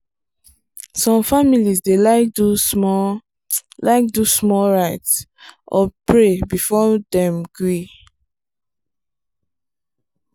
some families dey like do small like do small rite or pray before dem gree.